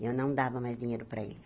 Eu não dava mais dinheiro para ele.